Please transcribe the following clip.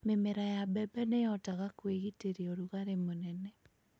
Mĩmera ya mbembe nĩ ĩhotaga gwĩtiiria ũrugarĩ mũnene.